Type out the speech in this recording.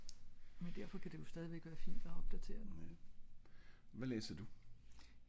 men derfor ka det jo stadigvæk være fint at opdaterer den